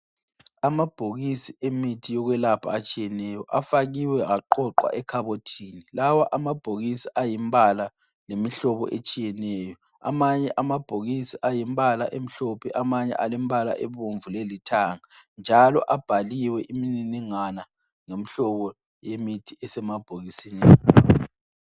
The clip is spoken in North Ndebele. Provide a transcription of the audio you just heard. Amabhokisi emithi yokwelapha atshiyeneyo, afakiwe aqoqwa ekhabothini. Lawa amabhokisi ayimbala lemihlobo etshiyeneyo. Amanye amabhokisi ayimbala emhlophe, amanye alembala ebomvu lelithanga, njalo abhaliwe imininingwana lomhlobo yemithi esemabhokisini.